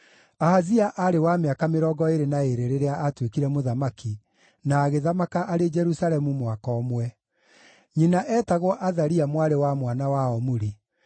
Ahazia aarĩ wa mĩaka mĩrongo ĩĩrĩ na ĩĩrĩ rĩrĩa aatuĩkire mũthamaki, na agĩthamaka arĩ Jerusalemu mwaka ũmwe. Nyina eetagwo Athalia mwarĩ wa mwana wa Omuri.